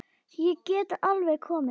Ég get alveg komið inn.